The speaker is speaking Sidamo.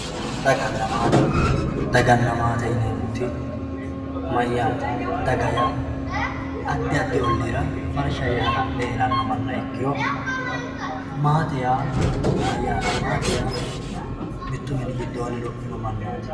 Dagana maate dagana maate yinemoti mayate daga yaa adi adi oliira farsha yee ha`lale herano mana ikiro maate yaa mayate maate yaa mittu mini gidoni lophino manaat.